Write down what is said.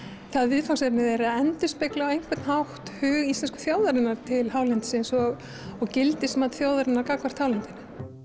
viðfangsefni þeirra endurspegli á einhvern hátt hug íslensku þjóðarinnar til hálendisins og og gildismat þjóðarinnar gagnvart hálendinu